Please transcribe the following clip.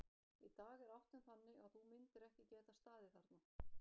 Í dag er áttin þannig að þú myndir ekki geta staðið þarna.